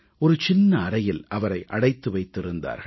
ஒரு சின்ன அறையில் அவரை அடைத்து வைத்திருந்தார்கள்